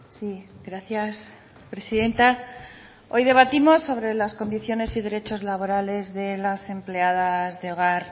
sí gracias presidenta hoy debatimos sobre las condiciones y derechos laborales de las empleadas de hogar